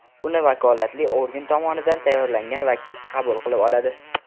Uni vakolatli organ tomonidan tayyorlangan vakil qabul qilib oladi.